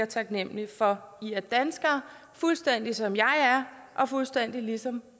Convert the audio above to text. taknemlige for i er danskere fuldstændig som jeg er og fuldstændig ligesom